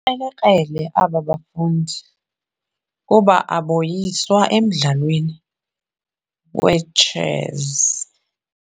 krelekrele aba bafundi kuba aboyiswa emdlalweni wetshesi.